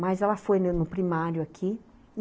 Mas ela foi no primário aqui.